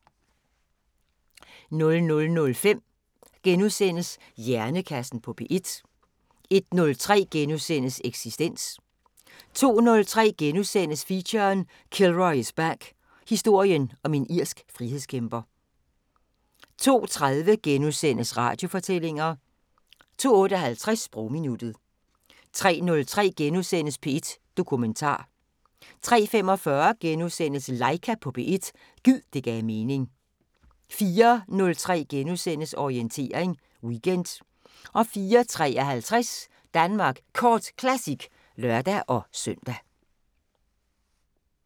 00:05: Hjernekassen på P1 * 01:03: Eksistens * 02:03: Feature: Kilroy is back – Historien om en irsk frihedskæmper * 02:30: Radiofortællinger * 02:58: Sprogminuttet 03:03: P1 Dokumentar * 03:45: Laika på P1 – gid det gav mening * 04:03: Orientering Weekend * 04:53: Danmark Kort Classic (lør-søn)